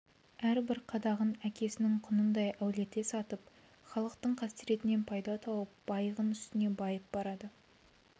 әрбір қадағын әкесінің құнындай әуелете сатып халықтың қасіретінен пайда тауып байыған үстіне байып барады